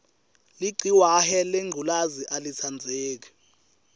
ligciwahe lengculezi alitsandzeki